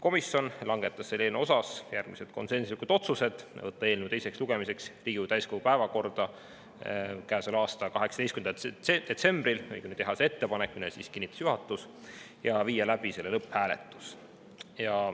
Komisjon langetas eelnõu suhtes järgmised konsensuslikud otsused: teha ettepanek võtta eelnõu teiseks lugemiseks Riigikogu täiskogu päevakorda käesoleva aasta 18. detsembril, mille kinnitas juhatus, ja viia läbi selle lõpphääletus.